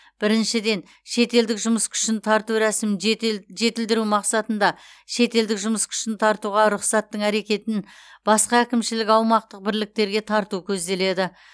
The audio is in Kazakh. біріншіден шетелдік жұмыс күшін тарту рәсімін жетел жетілдіру мақсатында шетелдік жұмыс күшін тартуға рұқсаттың әрекетін басқа әкімшілік аумақтық бірліктерге тарату көзделеді